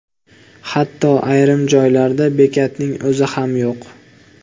Hatto ayrim joylarda bekatning o‘zi ham yo‘q.